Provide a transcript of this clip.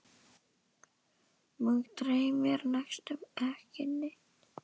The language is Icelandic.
Mig dreymir næstum ekki neitt.